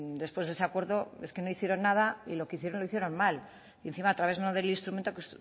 después de ese acuerdo es que no hicieron nada y lo que hicieron lo hicieron mal y encima a través no del instrumento que